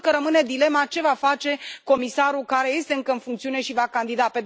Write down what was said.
Sigur că rămâne dilema ce va face comisarul care este încă în funcțiune și va candida?